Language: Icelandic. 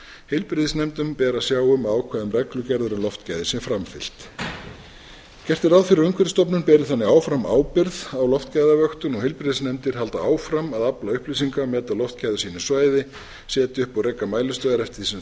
heilbrigðisnefndum ber að sjá um að ákvæðum reglugerðar um loftgæði sé framfylgt gert er ráð fyrir að umhverfisstofnun beri þannig áfram ábyrgð á loftgæðavöktun og heilbrigðisnefndir haldi áfram að afla upplýsinga meta loftgæði á sínu svæði setja upp og reka mælistöðvar eftir því sem þörf